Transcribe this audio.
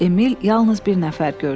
Emil yalnız bir nəfər gördü.